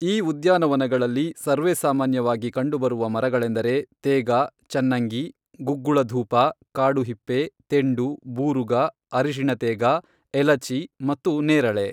ಈ ಉದ್ಯಾನವನದಲ್ಲಿ ಸರ್ವೇಸಾಮಾನ್ಯವಾಗಿ ಕಂಡುಬರುವ ಮರಗಳೆಂದರೆ ತೇಗ, ಚನ್ನಂಗಿ, ಗುಗ್ಗುಳ ಧೂಪ, ಕಾಡು ಹಿಪ್ಪೆ, ತೆಂಡು, ಬೂರುಗ, ಅರಿಶಿಣ ತೇಗ, ಎಲಚಿ ಮತ್ತು ನೇರಳೆ.